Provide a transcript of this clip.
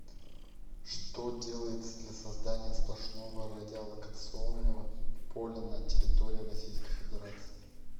что делается для создания сплошного радиолокационного поля на территории российской федерации